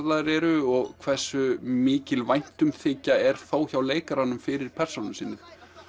eru og hversu mikil væntumþykja er hjá leikurunum fyrir persónu sinni